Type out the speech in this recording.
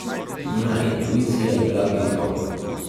Njena intuicija je bila tiho.